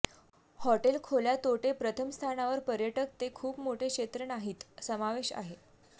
hotel खोल्या तोटे प्रथम स्थानावर पर्यटक ते खूप मोठे क्षेत्र नाहीत समावेश आहे